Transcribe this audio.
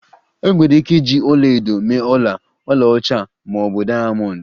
Enwere ike iji ọla edo mee ọla, ọlaọcha ma ọ bụ diamond